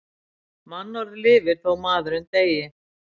Mannorð lifir þó maðurinn deyi.